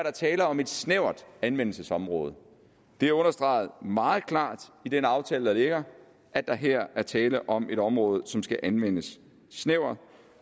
er tale om et snævert anvendelsesområde det er understreget meget klart i den aftale der ligger at der her er tale om et område som skal anvendes snævert